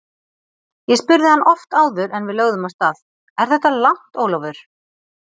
Ég spurði hann oft áður en við lögðum af stað: Er þetta langt, Ólafur?